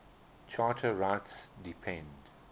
charter rights depend